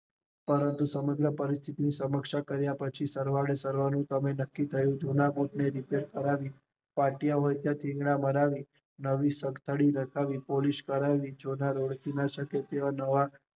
પણ સમગ્ર પરિસ્થિતિ ને સમજ્યા કર્યા પછી સરવાળે સર્વનું નક્કી કરિયું, જુના બુટ ને રિપેર કરવાની ફાટ્યા હોય ત્યાં થીંગડા મારવી હતી નવી દોરી નખાવી પોલિશ કરાવીજોધા રોફડી ના શકે તેવા.